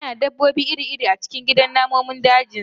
Yana da dabbobi iri-iri a cikin gidan namun dajinsa